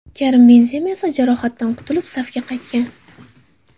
Karim Benzema esa jarohatidan qutulib safga qaytgan.